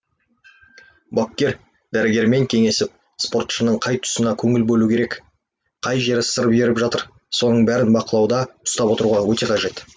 бапкер дәрігермен кеңесіп спортшының қай тұсына көңіл бөлу керек қай жері сыр беріп жатыр соның бәрін бақылауда ұстап отыруға өте қажет